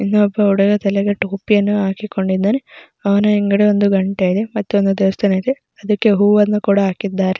ಇಲ್ಲಿ ಒಬ್ಬ ಹುಡುಗ ತಲೆಗೆ ಟೋಪಿಯನ್ನು ಹಾಕಿ ಕೊಂಡು ಇದ್ದಾನೆ ಅವನ ಹಿಂಗಡೆ ಒಂದು ಗಂಟೆ ಇದೆ ಮತ್ತೆ ಒಂದು ದೇವಸ್ತಾನ ಇದೆ ಅದುಕ್ಕೆ ಹೂವನ್ನು ಕೂಡ ಹಾಕಿದ್ದಾರೆ.